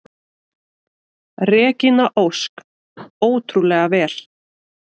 Regína Ósk: Ótrúlega vel.